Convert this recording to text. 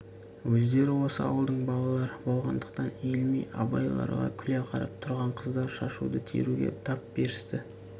өздері осы ауылдың балалары болғандықтан иілмей абайларға күле қарап тұрған қыздар шашуды теруге тап берісті